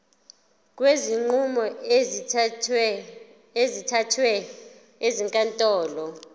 kwezinqumo ezithathwe ezinkantolo